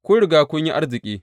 Kun riga kun yi arziki!